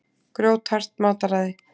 Grjóthart mataræði.